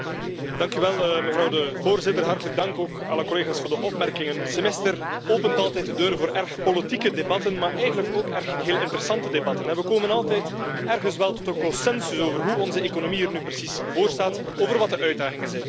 Dank u, mevrouw de voorzitter. Hartelijk dank ook, alle collega's, voor de opmerkingen. Het Semester opent altijd de deur voor erg politieke debatten, maar eigenlijk ook heel erg interessante debatten. We komen altijd ergens wel tot een consensus over hoe onze economie er nu precies voorstaat, over wat de uitdagingen zijn.